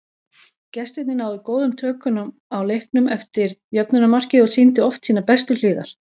Gestirnir náðu góðum tökum á leiknum eftir jöfnunarmarkið og sýndu oft sínar bestu hliðar.